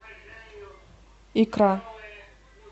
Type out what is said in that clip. икра